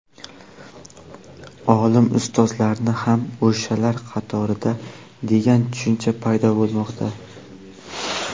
olim ustozlarni ham o‘shalar qatorida degan tushuncha paydo bo‘lmoqda.